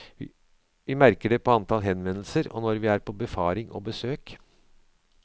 Vi merker det på antall henvendelser og når vi er på befaring og besøk.